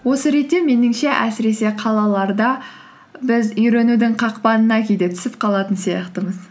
осы ретте меніңше әсіресе қалаларда біз үйренудің қақпанына кейде түсіп қалатын сияқтымыз